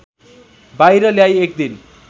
बाहिर ल्याई एकदिन